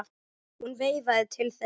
Hún veifaði til þeirra.